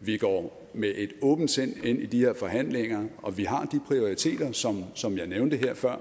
vi går med åbent sind ind i de her forhandlinger og vi har de prioriteter som som jeg nævnte her før